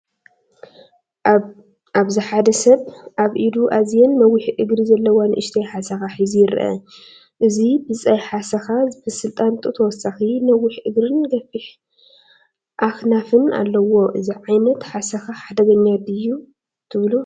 ኣብዚሓደ ሰብ ኣብ ኢዱ ኣዝየን ነዊሕ እግሪ ዘለዋ ንእሽቶ ሓሰካ ሒዙ ይርአ። እዚ ብጻይ ሓሰካ ዝመስል ጣንጡ፡ ተወሳኺ ነዊሕ እግርን ገፊሕ ኣኽናፍን ኣለዎ። እዚ ዓይነት ሓሰካ ሓደገኛ ድዩ ዶ ትብሉ?